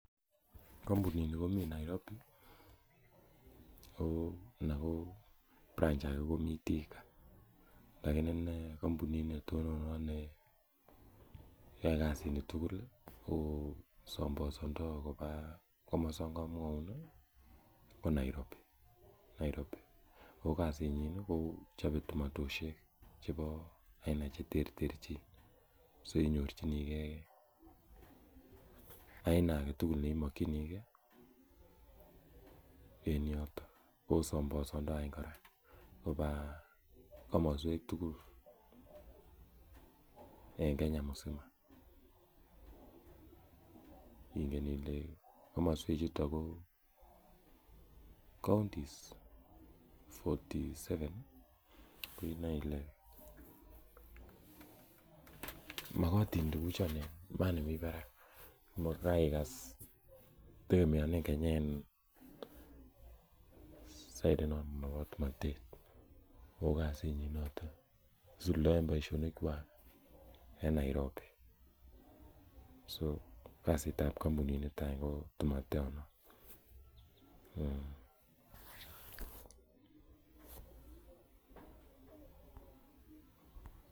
Kampunini komi Nairobi anan ko branch age komi Thika. Lakini ne kampunit ne tononot ne yae kasit ne tugul ko sambasandai kopa komasana kamwaun ko Nairobi. Ko kasit nyin ko chope tomatoishek chepo aina che terterchin. So inyorchinigei aina age tugul ne imakchinigei en yotok. Ko sambasandai kora kopa komaswek tugul eng' Kenya msima. Ingen ile komaswek che chuto ko counties fourty seven ko inae ile makatin tuguchon nea, yani mi parak. Ko kaikas tegemeanen Kenya en side inoton po tomatet. Ko kasit nyin notok, isudaen poishonikwak en Nairobi. So, kasit ap kampuninito any ko tomaton no.